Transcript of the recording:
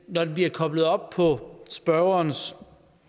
når det bliver koblet op på spørgerens